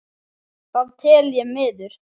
Það tel ég miður.